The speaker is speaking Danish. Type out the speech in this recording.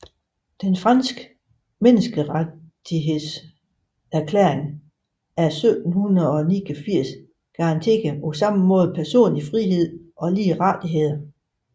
Den franske menneskerettighedserklæring af 1789 garanterede ligeledes personlig frihed og lige rettigheder